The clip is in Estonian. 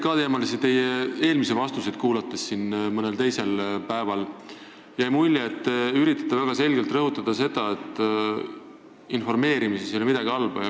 Ka teie eelmisi PBK-teemalisi vastuseid kuulates – mõnel teisel päeval – jäi mulje, et te üritate väga selgelt rõhutada seda, et informeerimises ei ole midagi halba.